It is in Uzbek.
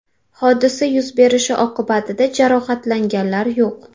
Hodisa yuz berishi oqibatida jarohatlanganlar yo‘q”.